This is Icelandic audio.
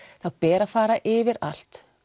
þá ber að fara yfir allt